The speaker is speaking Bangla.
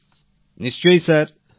প্রেম জী নিশ্চয় স্যার